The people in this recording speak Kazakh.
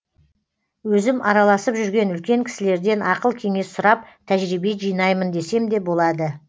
өзім араласып жүрген үлкен кісілерден ақыл кеңес сұрап тәжірбие жинаймын десем де болады